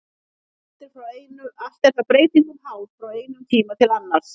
Allt er það breytingum háð frá einum tíma til annars.